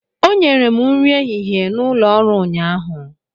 O nyere m nri ehihie n'ụlọ ọrụ ụnyahụ.